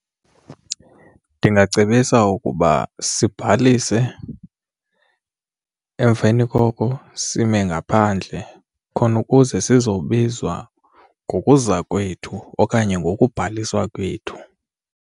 Ndingacebisa ukuba sibhalise emveni koko sime ngaphandle khona ukuze sizobizwa ngokuza kwethu okanye ngokubhaliswa kwethu.